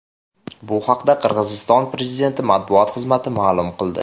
Bu haqda Qirg‘iziston prezidenti matbuot xizmati ma’lum qildi .